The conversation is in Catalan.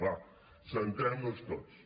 va centrem nos tots